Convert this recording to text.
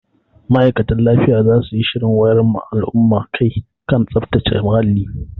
Ma'aikatan lafiya za su yi shirin wayar ma al'umma kai a kan tsaftace muhalli.